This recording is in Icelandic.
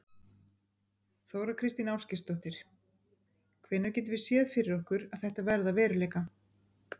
Þóra Kristín Ásgeirsdóttir: Hvenær getum við séð fyrir okkur að þetta verði að veruleika?